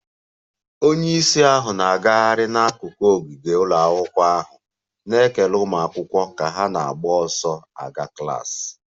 Onye isi ahụ na-agagharị n'akụkụ ogige ụlọ akwụkwọ ahụ, na-ekele ụmụ akwụkwọ ka ha na-agba ọsọ gaa klas